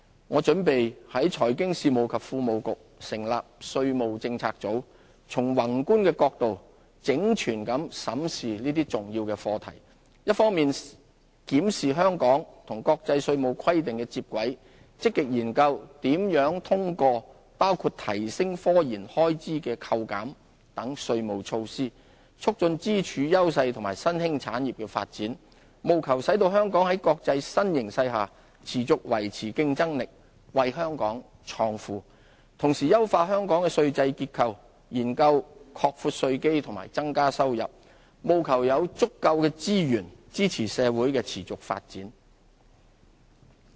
我準備在財經事務及庫務局成立稅務政策組，從宏觀的角度整全地審視這些重要的課題，一方面檢視香港與國際稅務規定的接軌，積極研究如何通過包括提升科研開支的扣減等稅務措施，促進支柱、優勢和新興產業的發展，務求使香港在國際新形勢下持續維持競爭力，為香港創富；同時優化香港的稅制結構，研究擴闊稅基和增加收入，務求有足夠資源支持社會的持續發展。